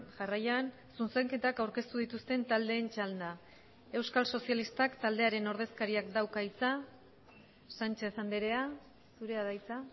jarraian zuzenketak aurkeztu dituzten taldeen txanda euskal sozialistak taldearen ordezkariak dauka hitza sánchez andrea zurea da hitza